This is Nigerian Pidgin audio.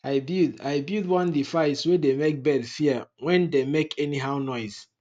i build i build one device way dey make bird fear when dey make anyhow noise